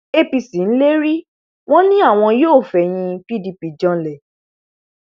apc ń lérí wọn ni àwọn yóò fẹyìn pdp janlẹ